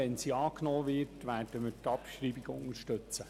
Wird diese angenommen, werden wir die Abschreibung unterstützen.